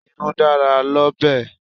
Irú dára l'ọ́bẹ̀.